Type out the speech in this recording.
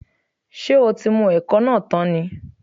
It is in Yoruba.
Ṣé o tí mu ẹ̀kọ náà tán ni?